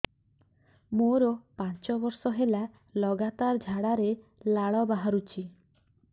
ମୋରୋ ପାଞ୍ଚ ବର୍ଷ ହେଲା ଲଗାତାର ଝାଡ଼ାରେ ଲାଳ ବାହାରୁଚି